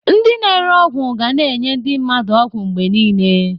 Ndị na-ere ọgwụ ga na-enye ndị mmadụ ọgwụ mgbe niile.